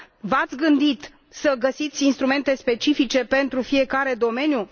V ați gândit să găsiți instrumente specifice pentru fiecare domeniu?